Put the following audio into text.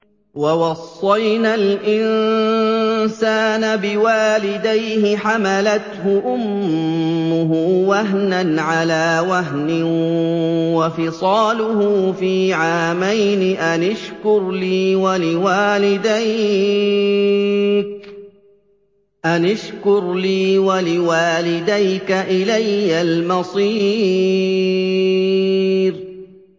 وَوَصَّيْنَا الْإِنسَانَ بِوَالِدَيْهِ حَمَلَتْهُ أُمُّهُ وَهْنًا عَلَىٰ وَهْنٍ وَفِصَالُهُ فِي عَامَيْنِ أَنِ اشْكُرْ لِي وَلِوَالِدَيْكَ إِلَيَّ الْمَصِيرُ